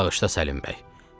Bağışla, Səlim bəy.